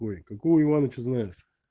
ой какой у ивановича знаешь